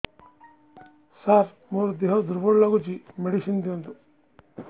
ସାର ମୋର ଦେହ ଦୁର୍ବଳ ଲାଗୁଚି ମେଡିସିନ ଦିଅନ୍ତୁ